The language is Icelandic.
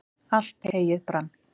allt heyið brann